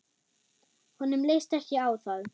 Honum leist ekki á það.